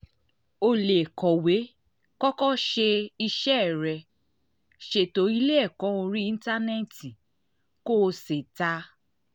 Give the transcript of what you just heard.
o lè kọ̀wé kọ́kọ́ ṣe iṣẹ́ rẹ ṣètò ilé ẹ̀kọ́ orí íńtánẹ́ẹ̀tì kó o sì ta